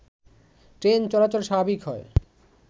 train চলাচল স্বাভাবিক হয়